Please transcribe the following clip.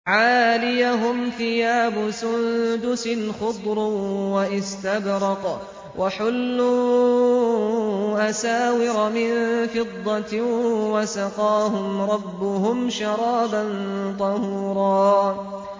عَالِيَهُمْ ثِيَابُ سُندُسٍ خُضْرٌ وَإِسْتَبْرَقٌ ۖ وَحُلُّوا أَسَاوِرَ مِن فِضَّةٍ وَسَقَاهُمْ رَبُّهُمْ شَرَابًا طَهُورًا